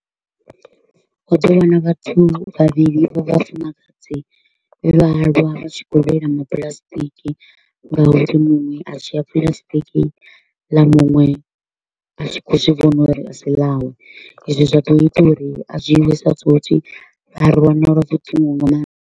U ḓo wana vhathu vhavhili vha vhafumakadzi vhe vhaaluwa vha tshi kho u lwela mapuḽasitiki nga uri muṅwe a dzhia puḽasitiki ḽa muṅwe a tshi kho u zwi vhona uri a si ḽawe. Ezwi zwa ḓo ita uri a dzhiiwe sa tswotswi, a fu .